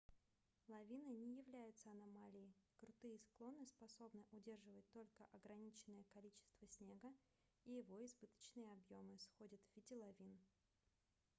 лавины не являются аномалией крутые склоны способны удерживать только ограниченное количество снега и его избыточные объемы сходят в виде лавин